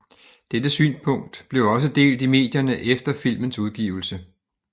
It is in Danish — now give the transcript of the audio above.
Dette synspunkt blev også delt i medierne efter filmens udgivelse